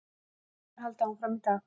Viðræður halda áfram í dag